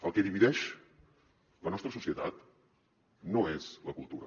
el que divideix la nostra societat no és la cultura